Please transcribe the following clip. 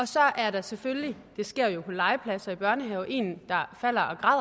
så er der selvfølgelig det sker jo på legepladser i børnehaver en der falder